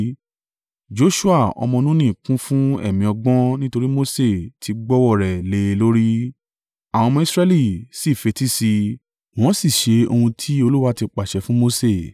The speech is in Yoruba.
Joṣua ọmọ Nuni kún fún ẹ̀mí ọgbọ́n nítorí Mose ti gbọ́wọ́ ọ rẹ̀ lé e lórí. Àwọn ọmọ Israẹli sì fetí sí i wọ́n sì ṣe ohun tí Olúwa ti pàṣẹ fún Mose.